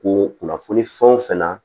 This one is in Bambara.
Ko kunnafoni fɛn o fɛn na